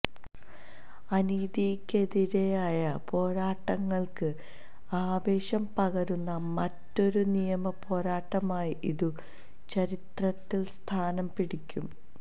അനീതിക്കെതിരായ പോരാട്ടങ്ങൾക്ക് ആവേശം പകരുന്ന മറ്റൊരു നിയമ പോരാട്ടമായി ഇതു ചരിത്രത്തിൽ സ്ഥാനം പിടിക്കും